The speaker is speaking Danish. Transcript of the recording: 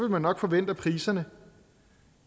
man nok forvente at priserne